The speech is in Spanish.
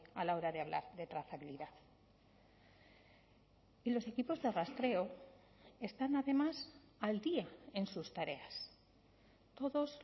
a la hora de hablar de trazabilidad y los equipos de rastreo están además al día en sus tareas todos